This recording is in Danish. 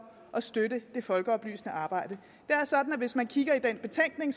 at støtte det folkeoplysende arbejde det er sådan at hvis man kigger i den betænkning